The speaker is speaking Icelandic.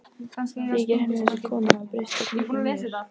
Þykir henni þessi kona hafa breyst jafn mikið og mér?